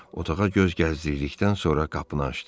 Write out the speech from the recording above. Otağa göz gəzdirdikdən sonra qapını açdı.